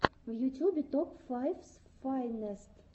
в ютюбе топ файфс файнест